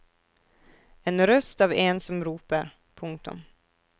En røst av en som roper. punktum